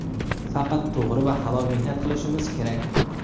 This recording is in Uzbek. Faqat to‘g‘ri va halol mehnat qilishimiz kerak.